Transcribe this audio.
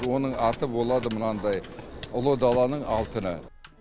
оның аты болады мынандай ұлы даланың алтыны